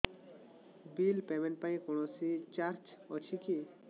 bill payment ପାଇଁ କୌଣସି charge ଅଛି କି